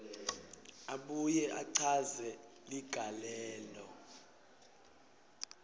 abuye achaze ligalelo